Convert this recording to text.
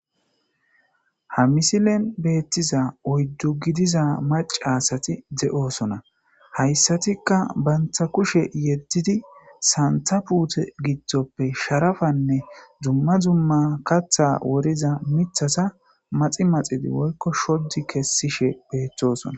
Ha misilen beeththiza oyddu gidiza macca asathi de7oosona;hayssathikka banththa kushe yeddidi sanththa puuthe giddoppe sharafanne dumma dumma kaththaa woriza miththatha maxi maxidi woykko shoddi kessishee beeththoosona.